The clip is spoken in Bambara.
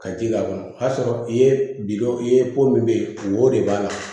Ka ji k'a kɔnɔ o y'a sɔrɔ i ye bi dɔ ye ko min bɛ ye wo de b'a la